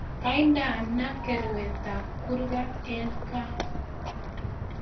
Kaindenaa karwetab kurget eng gaa